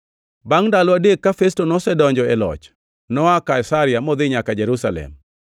Bangʼ ndalo adek ka Festo nosedonjo e loch, noa Kaisaria modhi nyaka Jerusalem,